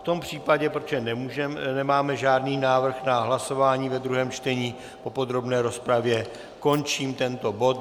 V tom případě, protože nemáme žádný návrh na hlasování ve druhém čtení po podrobné rozpravě, končím tento bod.